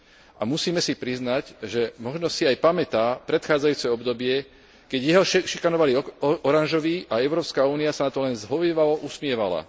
A musíme si priznať, že možno si aj pamätá predchádzajúce obdobie, keď jeho šikanovali oranžoví a Európska únia sa na to len zhovievavo usmievala.